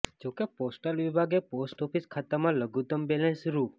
જોકે પોસ્ટલ વિભાગે post office ખાતામાં લઘુત્તમ બેલેન્સ રૂ